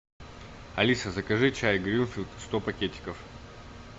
алиса закажи чай гринфилд сто пакетиков